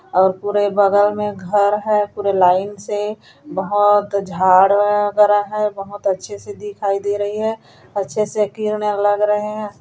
और पूरे बगल में घर हैं पूरा लाइन से बहोत झड़ वगैरा है बहोत अच्छे से दिखाई दे रही हैं अच्छे से लग रहे है।